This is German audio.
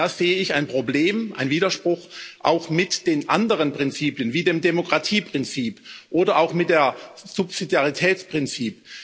Da sehe ich ein Problem, einen Widerspruch, auch mit den anderen Prinzipien wie dem Demokratieprinzip oder auch dem Subsidiaritätsprinzip.